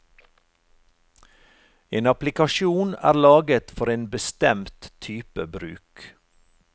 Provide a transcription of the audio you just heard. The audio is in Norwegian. En applikasjon er laget for en bestemt type bruk.